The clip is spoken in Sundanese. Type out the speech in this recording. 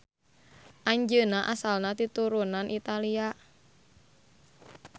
Anjeunna asalna ti turunan Italia.